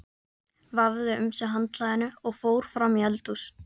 Vafði um sig handklæðinu og fór fram í eldhús.